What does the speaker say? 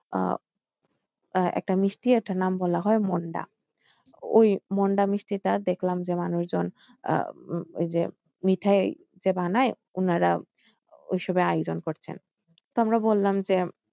আহ একটা মিষ্টি একটা নাম বলা হয় মুন্ডা ওই মুন্ডা মিষ্টিটা দেখলাম যে মানুষজন আহ ওই যে মিঠাই যে বানায় উনারা ওইসবের আয়োজন করছেন তো আমরা বললাম যে,